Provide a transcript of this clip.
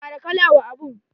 Kara kala wa abun.